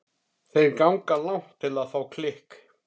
Þeir ganga langt til að fá klikk.